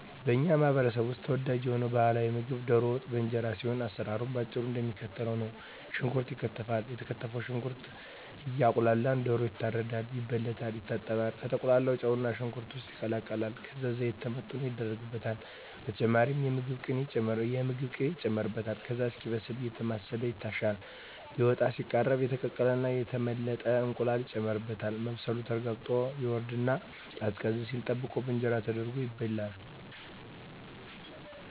በኛ ማህበረሰብ ውስጥ ተወዳጅ የሆነው ባህላዊ ምግብ ደሮ ወጥ በእንጀራ ሲሆን አሰራሩም በአጭሩ እደሚከተለው ነው። ሽንኩርት ይከተፋል የተከተፈው ሽንኩርት እየቁላላ ደሮ ይታረዳል፣ ይበለታል፣ ይታጠባል፣ ከተቁላላው ጨውና ሽንኩርት ውስጥ ይቀላቀላል ከዛ ዘይት ተመጥኖ ይደረግበታል በተጨማሪም የምግብ ቅቤ ይጨመርበታል ከዛ እስኪበስል አየተማሰለ ይታሻል ሊወጣ ሲቃረብ የተቀቀለና የተመለጠ እንቁላል ይጨመርበትና መብሰሉ ተረጋግጦ ይወርድና ቀዝቀዝ ሲል ተጠብቆ በእንጀራ ተደርጎ ይበላል።